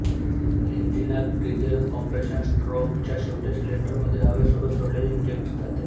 इंजिनात diesel compression stroke च्या शेवटी cylinder मध्ये हवे सोबत सोडले इंजेक्ट जाते